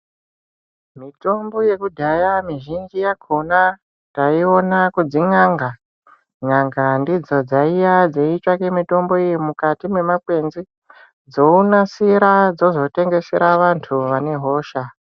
Mitombo yekudhaya mizhinji yakona taiwona kudzi n'anga. N'anga ndidzo dzaiya dziyitsvake mitombo iye mukati memakwenzi dzonasira dzozotengesera vantu vanehosha